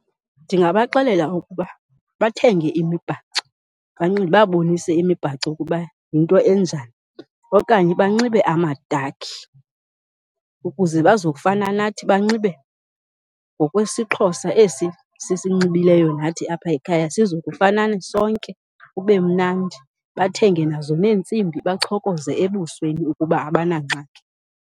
Ndingabaxelela ukuba bathenge imibhaco, ndibabonise imibhaco ukuba yinto enjani. Okanye banxibe amadakhi ukuze bazokufana nathi, banxibe ngokwesiXhosa esi sisinxibileyo nathi apha ekhaya sizokufanani sonke kube mnandi. Bathenge nazo neentsimbi, bachokoze ebusweni ukuba abanangxaki.